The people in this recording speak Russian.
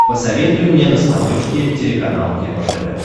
посоветуй мне на смотрешке телеканал кино тв